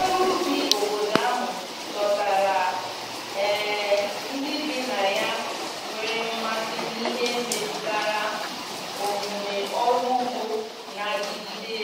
ọrụ ubi obodo ahụ dọtara um ndi bi na ya nwere mmasi n'ihe metụtara omume ọrụ ụgbo n'adigide